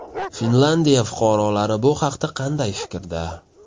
Finlyandiya fuqarolari bu haqda qanday fikrda?